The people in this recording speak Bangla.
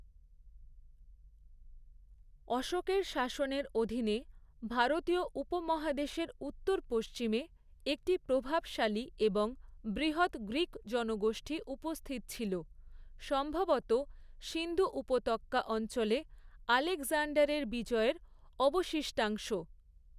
অশোকের শাসনের অধীনে, ভারতীয় উপমহাদেশের উত্তর পশ্চিমে, একটি প্রভাবশালী এবং বৃহৎ গ্রীক জনগোষ্ঠী উপস্থিত ছিল, সম্ভবত সিন্ধু উপত্যকা অঞ্চলে আলেকজান্ডারের বিজয়ের অবশিষ্টাংশ।